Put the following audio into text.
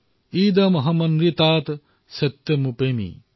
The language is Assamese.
ইদমহমনৃতাত সত্যমুপেমি